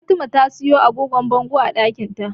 Fatima ta siyo agogon bangon ɗakinta.